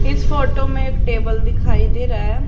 इस फोटो में एक टेबल दिखाई दे रहा है।